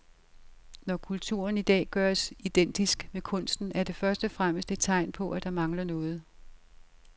Når kulturen i dag gøres identisk med kunsten er det først og fremmest et tegn på, at der mangler noget.